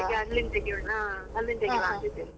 ಅದಿಕ್ಕೆ ಅಲ್ಲಿಂದ ತೆಗಿಯೋಣ ಅಲ್ಲಿಂದ್ ಅಂತ ಇದ್ದೇನೆ.